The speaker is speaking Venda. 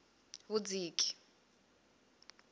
vhudziki